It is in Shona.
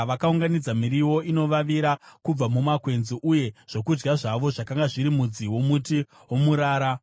Vakaunganidza miriwo inovavira kubva mumakwenzi, uye zvokudya zvavo zvakanga zviri mudzi womuti womurara.